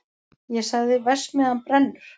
Ég sagði: verksmiðjan brennur!